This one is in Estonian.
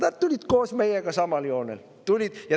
Nad tulid koos meiega samale joonele.